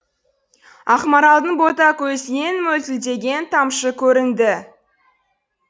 ақмаралдың бота көзінен мөлтілдеген тамшы көрінді